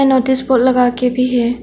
Notice board लगा के भी है।